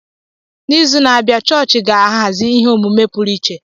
N'izu na-abịa, chọọchị ga-ahazi ihe omume pụrụ iche.